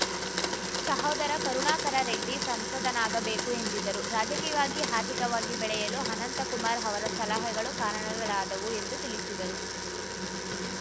ಸಹೋದರ ಕರುಣಾಕರ ರೆಡ್ಡಿ ಸಂಸದನಾಗಬೇಕು ಎಂದಿದ್ದರು ರಾಜಕೀಯವಾಗಿ ಆರ್ಥಿಕವಾಗಿ ಬೆಳೆಯಲು ಅನಂತಕುಮಾರ್‌ ಅವರ ಸಲಹೆಗಳು ಕಾರಣಗಳಾದವು ಎಂದು ತಿಳಿಸಿದರು